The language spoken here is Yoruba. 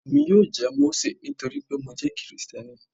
Ọmọ mi yóò jẹ́ Mósè nítorí pé mo jẹ́ Kristẹni.